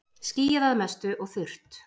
Skýjað að mestu og þurrt